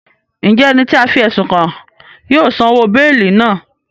Njẹ ẹni ti a fi ẹsun kàn náà yóò san òwò beeli náà?